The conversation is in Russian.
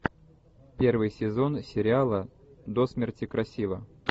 первый сезон сериала до смерти красива